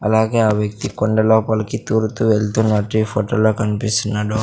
అలాగే ఆ వ్యక్తి కొండ లోపలికి దూరతు వెళ్తున్నట్టు ఈ ఫోటోలో కనిపిస్తున్నాడు.